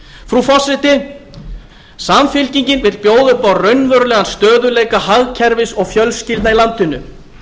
frú forseti samfylkingin vill bjóða upp á raunverulegan stöðugleika hagkerfis og fjölskyldna í landinu